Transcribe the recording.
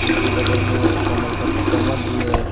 उनके बगल में कमल पत कमल भी है।